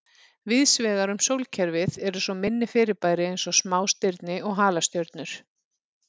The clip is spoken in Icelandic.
Víðsvegar um sólkerfið eru svo minni fyrirbæri eins og smástirni og halastjörnur.